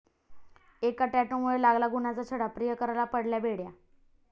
एका 'टॅटू'मुळे लागला गुन्ह्याचा छडा, प्रियकराला पडल्या बेड्या!